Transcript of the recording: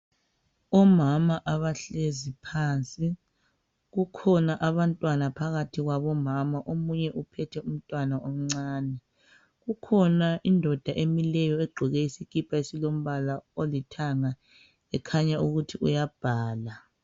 Omama abahlezi phansi kukhona abantwana phakathi kwabomama omunye uphethe umntwana omncane kukhona indoda emileyo egqoke isikipa esilombala olithanga ekhanya ukuthi uyabhala